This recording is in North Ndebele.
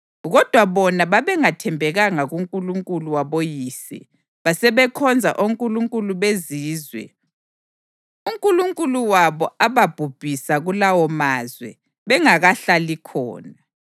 Kodwa bona babengathembekanga kuNkulunkulu waboyise basebekhonza onkulunkulu bezizwe uNkulunkulu wabo ababhubhisa kulawomazwe bengakahlali khona.